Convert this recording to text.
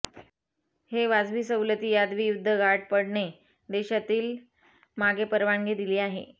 हे वाजवी सवलती यादवी युद्ध गाठ पडणे देशातील मागे परवानगी दिली आहे